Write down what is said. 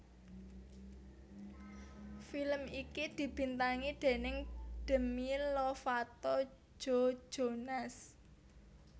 Film iki dibintangi déning Demi Lovato Joe Jonas